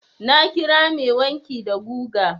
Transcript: Na kira mai wanki da guga.